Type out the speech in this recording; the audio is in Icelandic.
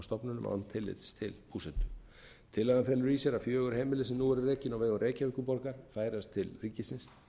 stofnunum án tillits til búsetu tillagan felur í sér að fjögur heimili sem nú eru rekin á vegum reykjavíkurborgar færast til ríkisins